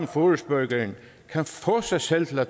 forespørgerne kan få sig selv til at